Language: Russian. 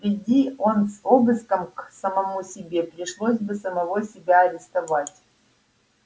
приди он с обыском к самому себе пришлось бы самого себя арестовать